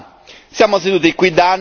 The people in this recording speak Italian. Un tempo ormai lontano.